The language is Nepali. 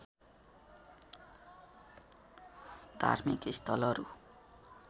धार्मिक स्थलहरू